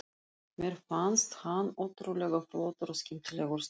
Mér fannst hann ótrúlega flottur og skemmtilegur strákur.